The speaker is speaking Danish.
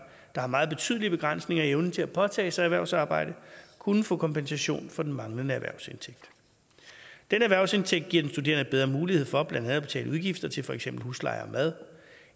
har meget betydelige begrænsninger i evnen til at påtage sig erhvervsarbejde kunne få kompensation for den manglende erhvervsindtægt denne erhvervsindtægt giver den studerende bedre mulighed for blandt andet at betale udgifter til for eksempel husleje og mad